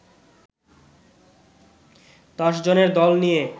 দশজনের দল নিয়ে